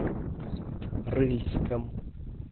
рыльском